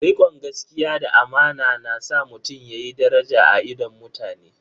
Rikon gaskiya da amana na sa mutum yayi daraja a idon mutane.